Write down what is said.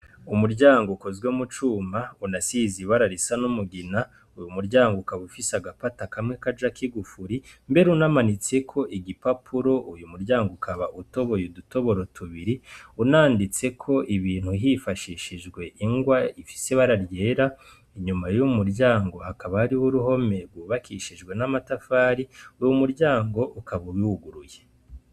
Umuryango ukozwe mu cuma unasize ibara risa n'umugina, umuryango ukaba ufise n'agapata kamwe kajako igufuri mbere unamanitseko agapapuro, umuryango ukaba utoboye udutoboro tubiri unanditseko ibintu hifashishijwe ingwa ifise ibara ryera, inyuma y'uwo muryango hakaba hariho uruhome rwubakishijwe n'amatafari, uwo muryango ukaba unuguruye.